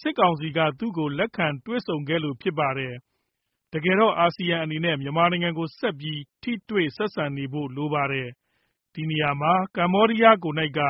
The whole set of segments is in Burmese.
စစ်ကောင်စီက သူ့ကို လက်ခံတွေ့ဆုံခဲ့လို့ ဖြစ်ပါတယ်။ တကယ်တော့ အာဆီယံအနေနဲ့ မြန်မာနိုင်ငံကို ဆက်ပြီး ထိတွေ့ ဆက်ဆံနေဖို့လိုပါတယ်။ ဒီနေရာမှာ ကမ္ဘောဒီးယားကိုယ်နှိုက်က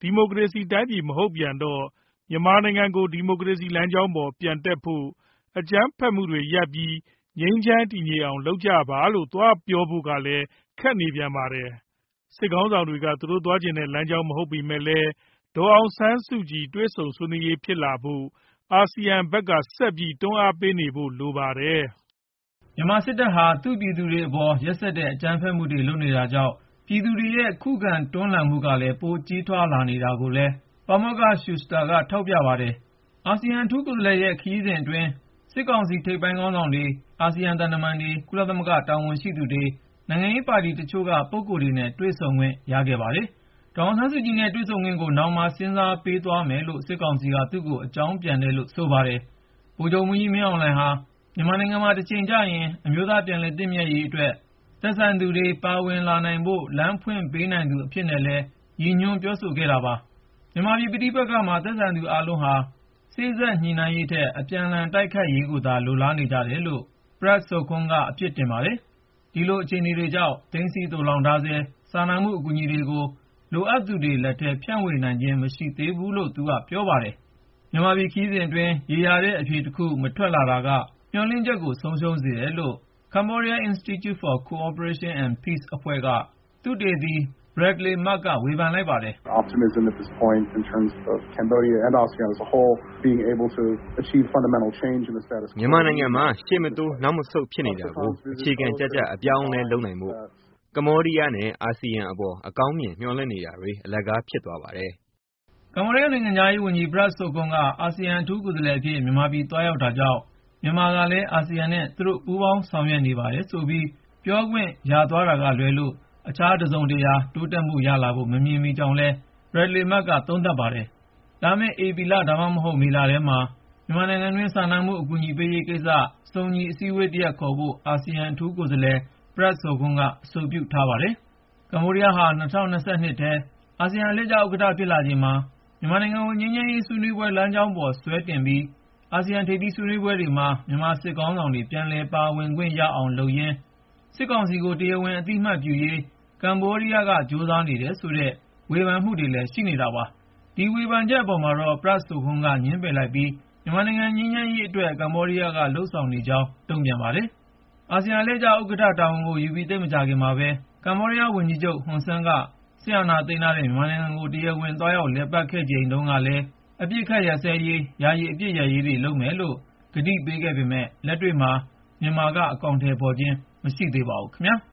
ဒီမိုကရေစီတိုင်းပြည် မဟုတ်ပြန်တော့ မြန်မာနိုင်ငံကို ဒီမိုကရေစီ လမ်းကြောင်းပေါ် ပြန်တက်ဖို့ ၊ အကြမ်းဖက်မှုတွေ ရပ်ပြီး ငြိမ်းချမ်း တည်ငြိမ်အောင် လုပ်ကြပါလို့ သွားပြောဖို့ကလည်း ခက်နေပြန်ပါတယ်။ စစ်ခေါင်းဆောင်တွေ သွားချင်တဲ့ လမ်းကြောင်း မဟုတ်ပေမဲ့လည်း ဒေါ်အောင်ဆန်းစုကြည်နဲ့ တွေ့ဆုံ ဆွေးနွေးရေး ဖြစ်လာဖို့ အာဆီယံဖက်က ဆက်ပြီး တွန်းအားပေးနေဖို့ လိုပါတယ်။ " မြန်မာစစ်တပ်ဟာ သူ့ပြည်သူတွေအပေါ် ရက်စက်တဲ့ အကြမ်းဖက်မှုတွေ လုပ်နေတာကြောင့် ပြည်သူတွေရဲ့ ခုခံတွန်းလှန်မှုကလည်း ပိုကြီးထွား လာနေတာကိုလည်း ပါမောက္ခ Shuster က ထောက်ပြပါတယ်။ အာဆီယံ အထူးကိုယ်စားလှယ်ရဲ့ ခရီးစဉ်အတွင်း စစ်ကောင်စီ ထိပ်ပိုင်းခေါင်းဆောင်တွေ ၊ အာဆီယံ သံတမန်တွေ ၊ ကုလသမဂ္ဂ တာဝန်ရှိသူတွေ၊ နိုင်ငံရေးပါတီတချို့က ပုဂ္ဂိုလ်တွေနဲ့ တွေ့ဆုံခွင့် ရခဲ့ပါတယ်။ ဒေါ်အောင်ဆန်းစုကြည်နဲ့ တွေ့ဆုံခွင့်ကို နောင်မှာ စဉ်းစားပေးသွားမယ်လို့ စစ်ကောင်စီက သူ့ကို အကြောင်းပြန်တယ်လို့လည်း ဆိုပါတယ်။ ဗိုလ်ချုပ်မှူးကြီး မင်းအောင်လှိုင်ဟာ မြန်မာနိုင်ငံမှာ တချိန်ကျရင် အမျိုးသားပြန်လည်သင့်မြတ်ရေးအတွက် သက်ဆိုင်သူတွေ ပါဝင်လာနိုင်ဖို့ လမ်းဖွင့်ပေးနိုင်သူ အဖြစ်နဲ့လည်း Prak Sokhonn က ရည်ညွှန်းပြောဆိုခဲ့တာပါ။ မြန်မာပြည်ပဋိပက္ခမှာ သက်ဆိုင်သူအားလုံးဟာ စေ့စပ်ညှိနှိုင်းရေးထက် အပြန်လှန်တိုက်ခိုက်ရေးကိုသာ လိုလားနေကြတယ်လို့ Sokhonn က အပြစ်တင်ပါတယ်။ ဒီလိုအခြေအနေတွေကြောင့် သိမ်းဆည်း သိုလှောင်ထားဆဲ စာနာမှု အကူအညီတွေကို လိုအပ်သူတွေလက်ထဲ ဖြန့်ဝေနိုင်ခြင်း မရှိသေးဘူးလို့လည်း ပြောပါတယ်။ မြန်မာပြည်ခရီးစဉ်အတွင်း ရေရာတဲ့ အဖြေတခု မထွက်လာတာက မျှော်လင့်ချက် ဆုံးရှုံးစေတယ်လို့ Cambodian Institute for Cooperation and Peace အဖွဲ့က သုတေသီ Bradley Murg ဝေဖန်လိုက်ပါတယ်။ " မြန်မာနိုင်ငံမှာ ရှေ့မတိုးနောက်မဆုတ် ဖြစ်နေတာကို အခြေခံကျကျ အပြောင်းအလဲ လုပ်နိုင်ဖို့ ကမ္ဘောဒီးယားနဲ့ အာဆီယံအပေါ် အကောင်းမြင် မျှော်လင့်နေတာတွေ အလကား ဖြစ်သွားပါတယ်။" ကမ္ဘောဒီးယားနိုင်ငံခြားရေးဝန်ကြီး Prak Sokhonn က အာဆီယံ အထူးကိုယ်စားလှယ်အဖြစ် မြန်မာပြည်သွားရောက်တာကြောင့် မြန်မာကလည်း အာဆီယံနဲ့ သူတို့ ပူးပေါင်းဆောင်ရွက်နေပါတယ်ဆိုပြီး ပြောခွင့် ရသွားတာကလွဲလို့ အခြား တစုံတရာ တိုးတက်မှုရလာဖို့ မမြင်မိကြောင်းလည်း Bradley Murg ကသုံးသပ်ပါတယ်။ လာမယ့် ဧပြီ ဒါမှမဟုတ် မေလထဲမှာ မြန်မာနိုင်ငံတွင်း စာနာမှု အကူအညီပေးရေးကိစ္စ စုံညီအစည်းအဝေးတရပ် ခေါ်ဖို့ အာဆီယံအထူးကိုယ်စားလှယ် Prak Sokhonn က အဆိုပြုထားပါတယ်။ ကမ္ဘောဒီးယားဟာ ၂၀၂၂ ထဲ အာဆီယံအလှည့်ကျဥက္ကဌ ဖြစ်လာချိန်မှာ မြန်မာနိုင်ငံကို ငြိမ်းချမ်းရေးဆွေးနွေးပွဲ လမ်းကြောင်းပေါ် ဆွဲတင်ပြီး ၊ အာဆီယံ ထိပ်သီးဆွေးနွေးပွဲတွေမှာ မြန်မာစစ်ခေါင်းဆောင်တွေ ပြန်လည် ပါဝင်ခွင့်ရအောင် လုပ်ရင်း ၊ စစ်ကောင်စီကို တရားဝင် အသိအမှတ်ပြုရေး ကမ္ဘောဒီးယားက ကြိုးစားနေတယ်ဆိုတဲ့ ဝေဖန်မှုတွေလည်း ရှိနေတာပါ။ ဒီ ဝေဖန်ချက်အပေါ်မှာတော့ Prak Sokhonn က ငြင်းပယ်လိုက်ပြီး မြန်မာနိုင်ငံ ငြိမ်းချမ်းရေးအတွက်သာ ကမ္ဘောဒီးယားက လုပ်ဆောင်နေကြောင်း တုံ့ပြန်ပါတယ်။ အာဆီယံအလှည့်ကျ ဥက္ကဌ တာဝန်ကိုယူပြီး သိပ်မကြာခင်မှာပဲ ကမ္ဘောဒီးယားဝန်ကြီးချုပ် Hun Sen က စစ်အာဏာသိမ်းထားတဲ့ မြန်မာနိုင်ငံကို တရားဝင် သွားရောက်လည်ပတ်ခဲ့ချိန် တုန်းကလည်း အပစ်ခတ်ရပ်စဲရေး ၊ ယာယီအပစ်ရပ်စဲရေးတွေ လုပ်မယ်လို့ ကတိပေးခဲ့ပေမဲ့ လက်တွေ့မှာ မြန်မာက အကောင်ထည်ဖေါ်ခြင်း မရှိသေးပါဘူး ခင်ဗျာ။